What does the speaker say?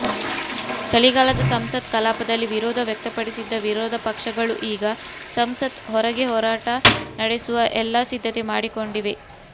ಚಳಿಗಾಲದ ಸಂಸತ್ ಕಲಾಪದಲ್ಲಿ ವಿರೋಧ ವ್ಯಕ್ತಪಡಿಸಿದ್ದ ವಿರೋಧ ಪಕ್ಷಗಳು ಈಗ ಸಂಸತ್ ಹೊರಗೆ ಹೋರಾಟ ನಡೆಸುವ ಎಲ್ಲ ಸಿದ್ಧತೆ ಮಾಡಿಕೊಂಡಿವೆ